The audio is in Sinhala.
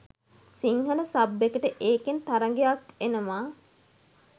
සිංහල සබ් එකට ඒකෙන් තරගයක් එනව.